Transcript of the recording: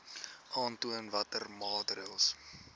aantoon watter maatreëls